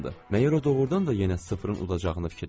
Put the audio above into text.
Məgər o doğrudan da yenə sıfırın udacağını fikirləşir?